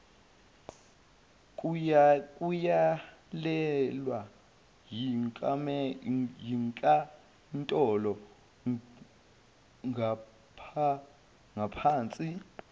kuyalelwe yinkantolo ngapahnsi